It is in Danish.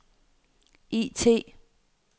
IT